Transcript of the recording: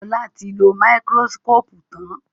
Ola tí lọ Máíkírósíkópù tán